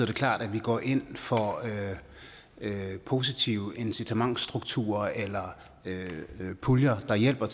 det klart at vi går ind for positive incitamentsstrukturer eller puljer der hjælper